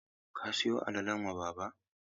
Ka siyo alalan wa baba?